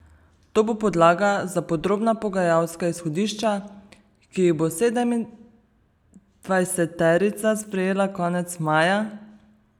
To bo podlaga za podrobna pogajalska izhodišča, ki jih bo sedemindvajseterica sprejela konec maja.